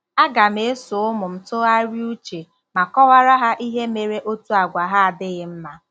A gam -eso ụmụ m tụgharịa uche ma kọwara ha ihe mere otu àgwà há adịghị mma.